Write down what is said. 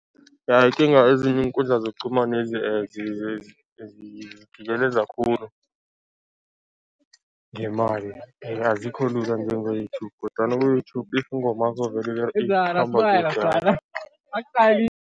Ja, ikinga ezinye iinkundla zokuqhumanezi khulu ngemali azikho lula njenge-YouTube kodwana ku-YouTube if ingomakho